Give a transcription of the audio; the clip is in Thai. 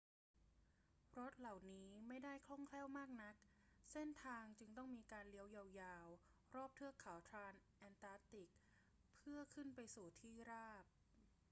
รถเหล่านี้ไม่ได้คล่องแคล่วมากนัก เส้นทางจึงต้องมีการเลี้ยวยาว ๆ รอบเทือกเขาทรานส์แอนตาร์กติกเพื่อขึ้นไปสู่ที่ราบ